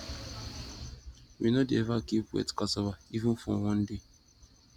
we no dey ever keep wet cassava even for one day